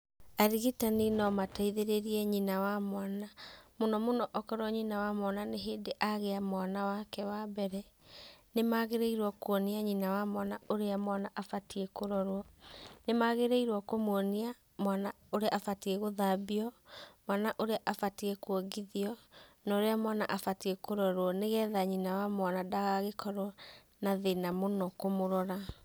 Arigitani no mateithĩrĩrie nyina wa mwana, mũno mũno okorwo nyina wa mwana nĩ hĩndĩ agĩa mwana wake wa mbere, nĩ magĩrĩirwo kũonia nyina wa mwana ũrĩa mwana abatie kũrorwo ,nĩ magĩrĩirwo kũmwonia mwana ũrĩa abatie gũthambio, mwana ũrĩa abatie kũongithio, na ũrĩa mwana abatie kũrorwo nyina wa mwana ndakorwo na thina mũno kũmũrora.